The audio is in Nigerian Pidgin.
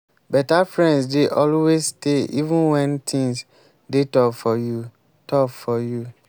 beta friends dey always stay even wen things dey tough for you. tough for you.